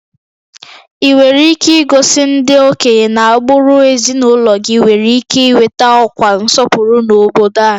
Ị nwere ike igosi ndị okenye na agbụrụ ezinụlọ gị nwere ike ị nweta ọkwa nsọpụrụ n'obodo a?